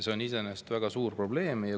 See on iseenesest väga suur probleem.